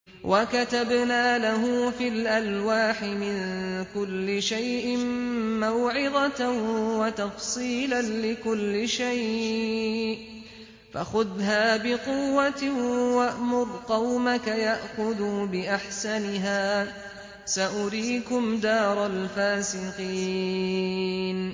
وَكَتَبْنَا لَهُ فِي الْأَلْوَاحِ مِن كُلِّ شَيْءٍ مَّوْعِظَةً وَتَفْصِيلًا لِّكُلِّ شَيْءٍ فَخُذْهَا بِقُوَّةٍ وَأْمُرْ قَوْمَكَ يَأْخُذُوا بِأَحْسَنِهَا ۚ سَأُرِيكُمْ دَارَ الْفَاسِقِينَ